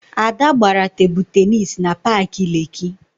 Ada gbara Tebụl Tennis na paakị Lekkị